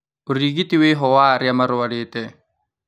Ũrigiti wĩho wa arĩa marwarĩte